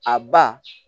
A ba